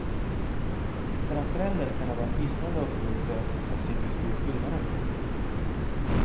För en förälder kan det vara en hisnande upplevelse att se hur stor skillnaden blir.